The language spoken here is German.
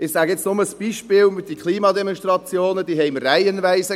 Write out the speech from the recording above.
Ich nenne nur ein Beispiel: Diese Klimademonstrationen hatten wir reihenweise.